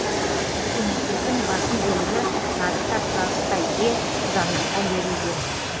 көкөністердің басым бөлігі нарықта сұранысқа ие қызанаққа берілген